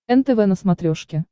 нтв на смотрешке